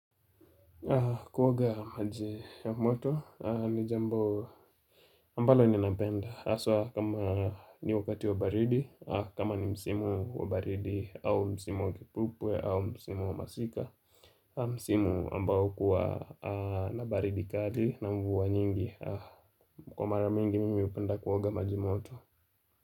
Kuoga maji ya moto ni jambo ambalo ninapenda haswa kama ni wakati wa baridi kama ni msimu wa baridi au msimu wa kipupwe au msimu wa masika Msimu ambao huwa na baridi kali na mvua nyingi. Kwa mara mingi mimi hupenda kuoga maji moto.